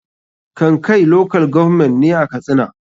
kankai local government ne a katsina.